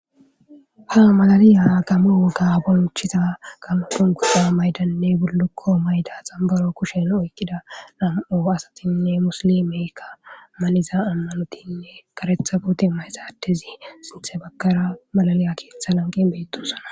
Ha malaliya kamo wogga bonchiza kamupun guda maydanne burlukko mayda xambaro kushen oykkida nam'o asatinne muslimeka maniza ammanotinne karetha bute ma hesaatezi sinthe bakara malaliya keeththa lanqi beettosana